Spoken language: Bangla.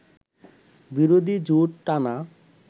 বিরোধী জোট টানা